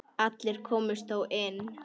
Allir komust þó inn.